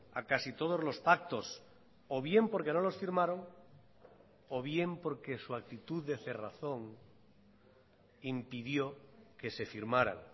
a casi todos los pactos o bien porque no los firmaron o bien porque su actitud de cerrazón impidió que se firmaran